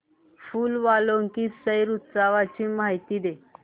फूल वालों की सैर उत्सवाची मला माहिती दे